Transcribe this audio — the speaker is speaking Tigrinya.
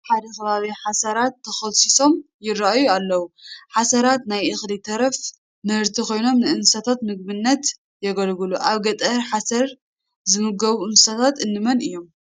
ኣብ ሓደ ከባቢ ሓሰራት ተኾልሲሶም ይርአዩ ኣለዉ፡፡ ሓሰራት ናይ እኽሊ ተረፈ ምህርቲ ኮይኖም ንእንስሳት ምግብነት የገልግሉ፡፡ ኣብ ገጠር ሓሰር ዝምገቡ እንስሳት እንመን እዮም?